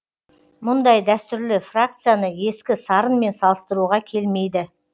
мұндай дәстүрлі фракцияны ескі сарынмен салыстыруға келмейді